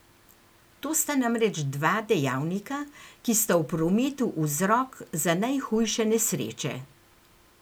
To sta namreč dva dejavnika, ki sta v prometu vzrok za najhujše nesreče.